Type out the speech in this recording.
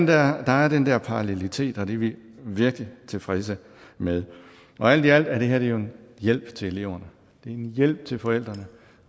der er den der parallelitet og det er vi virkelig tilfredse med alt i alt er det her jo en hjælp til eleverne det er en hjælp til forældrene